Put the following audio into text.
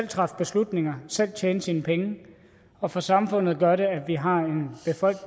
træffe beslutninger selv tjene sine penge og for samfundet gør det at vi har